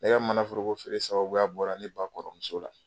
Ne ka manaforokofeere sababuya bɔra ne ba kɔrɔmuso la